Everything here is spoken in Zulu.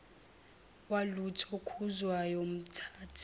walutho khuzwayo mthathe